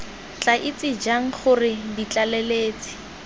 tla itse jang gore ditlaleletsi